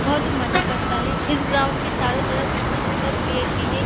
बहुत ही मजा करता है इस ग्राउंड के चारो तरफ सुन्दर-सुन्दर पेड़ भी है।